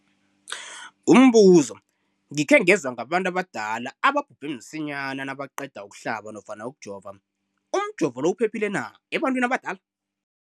Umbuzo, gikhe ngezwa ngabantu abadala ababhubhe msinyana nabaqeda ukuhlaba nofana ukujova. Umjovo lo uphephile na ebantwini abadala?